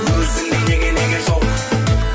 өзіңдей неге неге жоқ